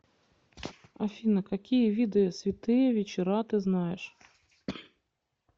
афина какие виды святые вечера ты знаешь